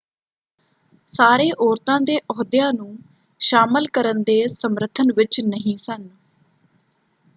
ਸਾਰੇ ਔਰਤਾਂ ਦੇ ਅਹੁਦਿਆਂ ਨੂੰ ਸ਼ਾਮਲ ਕਰਨ ਦੇ ਸਮਰਥਨ ਵਿੱਚ ਨਹੀਂ ਸਨ